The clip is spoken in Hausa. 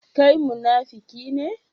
Kai munafiki ne?